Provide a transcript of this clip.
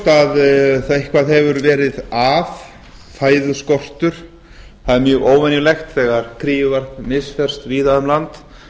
það er augljóst að eitthvað hefur verið að fæðuskortur það er mjög óvenjulegt þegar kríuvarp misferst víða um land